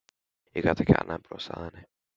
Ég gat ekki annað en brosað að henni.